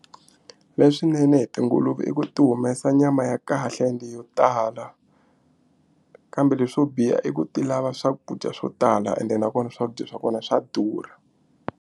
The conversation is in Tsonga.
Leswinene hi tinguluve i ku ti humesa nyama ya kahle ende yo tala kambe leswo biha i ku ti lava swakudya swo tala ende nakona swakudya swa kona swa durha.